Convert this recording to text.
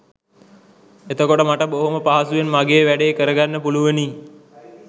එතකොට මට බොහෝම පහසුවෙන් මගේ වැඬේ කරගන්න පුළුවනි